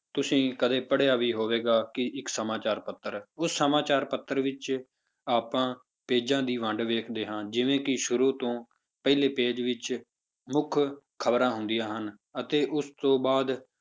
ਤੁਸੀਂ ਕਦੇ ਪੜ੍ਹਿਆ ਵੀ ਹੋਵੇਗਾ ਕਿ ਇੱਕ ਸਮਾਚਾਰ ਪੱਤਰ, ਉਸ ਸਮਾਚਾਰ ਪੱਤਰ ਵਿੱਚ ਆਪਾਂ pages ਦੀ ਵੰਡ ਵੇਖਦੇ ਹਾਂ ਜਿਵੇਂ ਕਿ ਸ਼ੁਰੂ ਤੋਂ ਪਹਿਲੇ page ਵਿੱਚ ਮੁੱਖ ਖ਼ਬਰਾਂ ਹੁੰਦੀਆਂ ਹਨ ਅਤੇ ਉਸ ਤੋਂ ਬਾਅਦ,